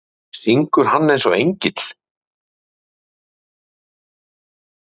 Hödd Vilhjálmsdóttir: Syngur hann eins og engill?